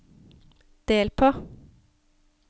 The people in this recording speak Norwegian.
del på